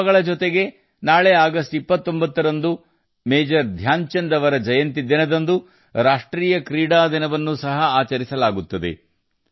ಈ ಹಬ್ಬಗಳ ಜೊತೆಗೆ ನಾಳೆ ಆಗಸ್ಟ್ 29 ರಂದು ಮೇಜರ್ ಧ್ಯಾನಚಂದ್ ಜಿ ಅವರ ಜನ್ಮದಿನದಂದು ರಾಷ್ಟ್ರೀಯ ಕ್ರೀಡಾ ದಿನವನ್ನು ಸಹ ಆಚರಿಸಲಾಗುತ್ತದೆ